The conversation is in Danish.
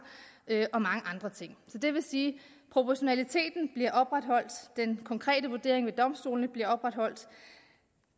og mange andre ting det vil sige at proportionaliteten og den konkrete vurdering ved domstolene bliver opretholdt